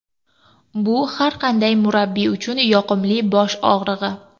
Bu har qanday murabbiy uchun yoqimli bosh og‘rig‘i.